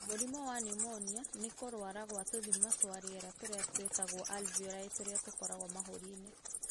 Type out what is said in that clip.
Mũrimũ wa pneumonia nĩ kũrũara kwa tũthima twa rĩera tũrĩa twĩtagwo alveoli tũrĩa tũkoragwo mahũri-inĩ